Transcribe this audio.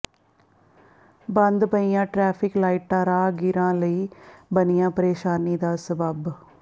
ਬੰਦ ਪਈਆਂ ਟ੍ਰੈਫ਼ਿਕ ਲਾਈਟਾਂ ਰਾਹਗੀਰਾਂ ਲਈ ਬਣੀਆਂ ਪ੍ਰੇਸ਼ਾਨੀ ਦਾ ਸਬੱਬ